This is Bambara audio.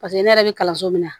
Paseke ne yɛrɛ bɛ kalanso min na